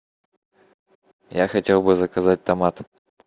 я хотел бы заказать томаты